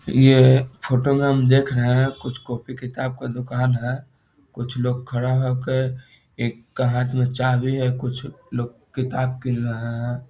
ये फोटो में हम देख रहे हैं कुछ कॉपी किताब का दुकान है कुछ लोग खड़ा हो के एक का हाथ में चाबी है कुछ लोग किताब गिन रहा हैं |